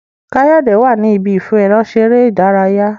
Kayode wá ní Ibi ìfẹ̀rọṣeré ìdárayá